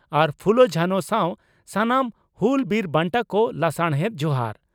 ᱟᱨ ᱯᱷᱩᱞᱳᱼᱡᱷᱟᱱᱚ ᱥᱟᱶ ᱥᱟᱱᱟᱢ ᱦᱩᱞ ᱵᱤᱨ ᱵᱟᱱᱴᱟ ᱠᱚ ᱞᱟᱥᱟᱲᱦᱮᱛ ᱡᱚᱦᱟᱟᱨ ᱾᱾